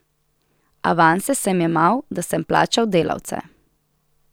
Avanse sem jemal, da sem plačal delavce.